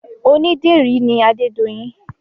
Onídìrí ni adedoyin